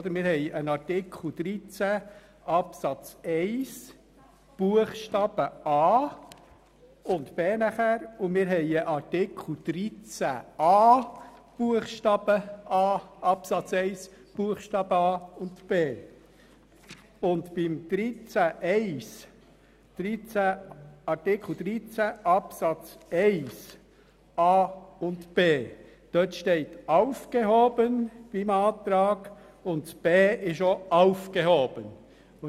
Es gibt einen Artikel 13 Absatz 1 Buchstaben a und b. Dann gibt es einen Artikel 13a Absatz 1 Buchstaben a und b. Bei Artikel 13 Absatz 1 Buchstaben a und b steht beim Antrag sowohl bei Buchstabe a als auch bei Buchstabe b «aufgehoben».